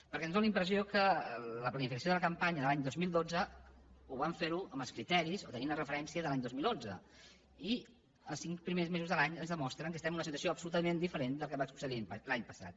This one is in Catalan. perquè ens fa la impressió que la planificació de la campanya de l’any dos mil dotze vam fer la amb els criteris o tenint la referència de l’any dos mil onze i els cinc primers mesos de l’any ens demostren que estem en una situació absolutament diferent del que va succeir l’any passat